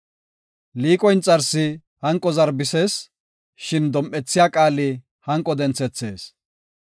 Liiqo inxarsi hanqo zarbisees; shin dom7ethiya qaali hanqo denthethees.